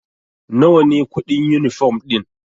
Nawa ne kuɗin yunifom ɗin?